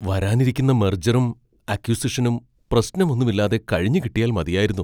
വരാനിരിക്കുന്ന മെർജറും അക്വിസിഷനും പ്രശ്നമൊന്നും ഇല്ലാതെ കഴിഞ്ഞുകിട്ടിയാൽ മതിയായിരുന്നു.